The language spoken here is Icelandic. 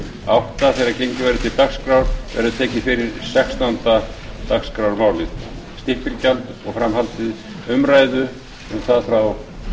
áttunda þegar gengið verður til dagskrár verður tekið fyrir sextánda dagskrármálið stimpilgjald og framhald umræðu um það frá